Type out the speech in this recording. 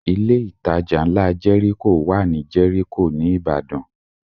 Ilé ìtajà ńlá Jẹ́ríkò wà ní Jẹ́ríkò ní Ìbàdàn